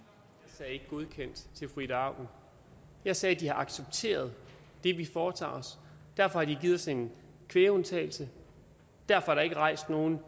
sagde ikke godkendt til fru ida auken jeg sagde at de har accepteret det vi foretager os derfor har de givet os en kvægundtagelse derfor er der ikke rejst nogen